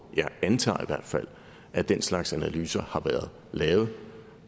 jeg antager i hvert fald at den slags analyser har været lavet